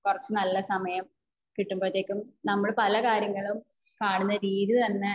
കുറച്ച നല്ല സമയം കിട്ടുമ്പോഴത്തേക്കും നമ്മള് പല കാര്യങ്ങളും കാണുന്ന രീതി തന്നെ